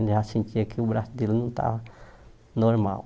Né já sentia que o braço dele não estava normal.